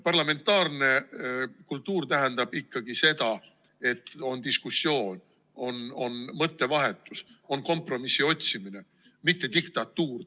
Parlamentaarne kultuur tähendab ikkagi seda, et on diskussioon, on mõttevahetus ja on kompromissi otsimine, mitte diktatuur.